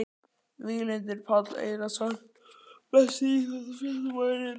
Víglundur Páll Einarsson Besti íþróttafréttamaðurinn?